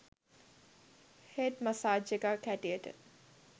head massage එකක් හැටියට